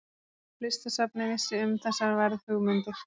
Listasafnið vissi um þessar verðhugmyndir.